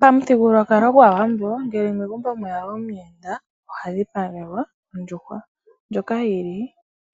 Pamithigululwakalo gwAawambo ngele megumbo mweya omuyenda oha dhipagelwa ondjuhwa ndjoka yi li